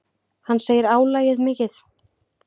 Hann segir álagið mikið.